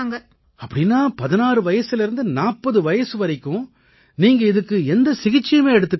அப்படீன்னா 16 வயசிலேர்ந்து 40 வயசு வரைக்கும் நீங்க இதுக்கு எந்த சிகிச்சையுமே எடுத்துக்கலையா